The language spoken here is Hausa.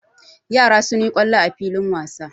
Yara sun yi kwallo a filin wasa.